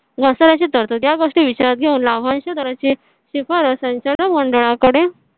ची तरतूद या गोष्टी विचारात घेऊन लाभांश दराची शिफारस संचालन मंडळाकडे.